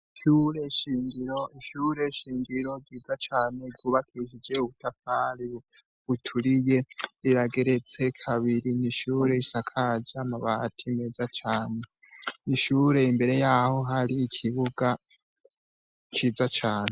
Ishure shingiro ryubakishijwe ubutafari buturiye, rirageretse kabiri. Ni ishure risakaje amabati meza cane. Ishure imbere yaho hari ikibuga ciza cane.